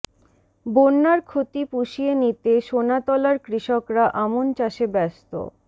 বন্যার ক্ষতি পুষিয়ে নিতে সোনাতলার কৃষকরা আমন চাষে ব্যস্ত